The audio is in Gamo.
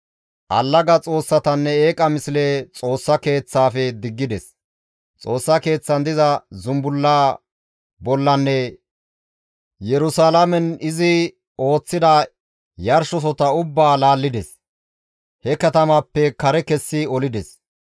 Allaga xoossatanne eeqaa misle Xoossa Keeththaafe diggides; Xoossa Keeththan diza zumbulla bollanne Yerusalaamen izi ooththida yarshosota ubbaa laallides; he katamaappe kare kessi olides.